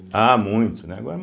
Ah, muito, né agora ma